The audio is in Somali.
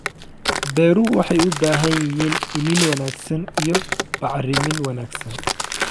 Beeruhu waxay u baahan yihiin iniin wanaagsan iyo bacrimin wanaagsan.